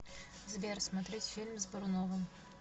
сбер смотреть фильм с боруновым